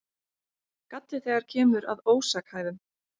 Galli þegar kemur að ósakhæfum